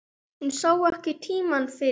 Hún sá ekki tímann fyrir.